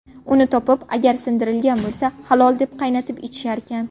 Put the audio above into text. Uni topib, agar sindirilgan bo‘lsa, halol deb qaynatib ichisharkan.